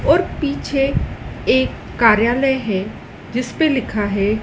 और पीछे एक कार्यालय है जिस पे लिखा है--